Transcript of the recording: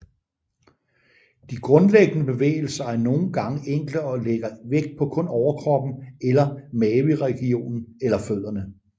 De grundlæggende bevægelser er nogen gange enkle og lægger vægt på kun overkroppen eller maveregionen eller fødderne